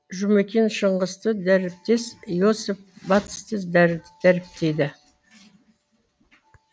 жұмекен шыңғысты дәріптес иосиф батысты дәріптейді